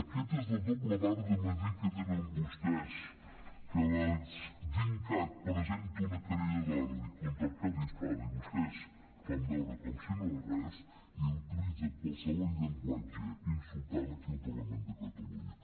aquesta és la dobla vara de mesurar que tenen vostès que dincat presenta una querella d’odi contra arcadi espada i vostès fan veure com si no res i utilitzen qualsevol llenguatge insultant aquí al parlament de catalunya